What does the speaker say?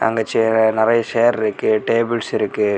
இங்க நிறைய சேர் இருக்கு டேபிள்ஸ் இருக்கு.